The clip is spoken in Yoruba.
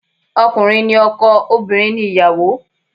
Ọkùnrin ni ọkọ, obìnrin ni ìyàwó